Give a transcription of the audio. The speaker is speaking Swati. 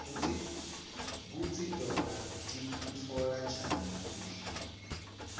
kutsi tona tikutfola njani kubla